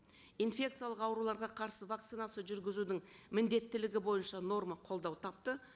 инфекциялық ауруларға қарсы вакцинация жүргізудің міндеттілігі бойынша норма қолдау тапты